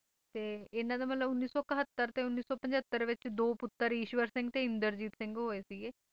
ਤੇ ਇਨ੍ਹਾਂ ਦਾ ਮਤਲਬ ਉੱਨੀ ਸੌ ਇਕਹੱਤਰ ਤੇ ਉੱਨੀ ਸੌ ਪੰਝੱਤਰ ਵਿੱਚ ਦੋ ਪੁੱਤਰ ਈਸ਼ਵਰ ਸਿੰਘ ਤੇ ਇੰਦਰਜੀਤ ਸਿੰਘ ਹੋਏ ਸੀਗੇ